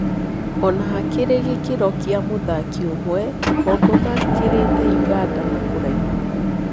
Ona harĩ gĩ kĩ ro gĩ a mũthaki ũmwe, Kongo makĩ rĩ te ũganda na kũraihu.